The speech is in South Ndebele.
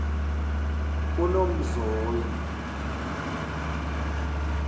unomzoyi